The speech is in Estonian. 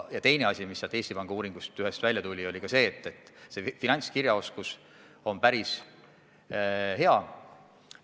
Ja teine tõsiasi, mis ühest Eesti Panga uuringust välja tuli, oli see, et finantskirjaoskus on päris hea.